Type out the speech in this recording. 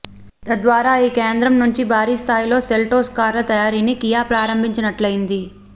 తద్వారా ఈ కేంద్రం నుంచి భారీ స్థాయిలో సెల్టోస్ కార్ల తయారీని కియా ప్రారంభించినట్లయింది